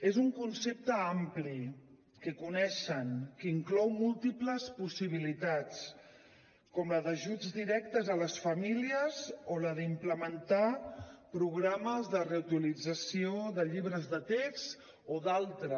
és un concepte ampli que coneixen que inclou múltiples possibilitats com la d’ajuts directes a les famílies o la d’implementar programes de reutilització de llibres de text o d’altres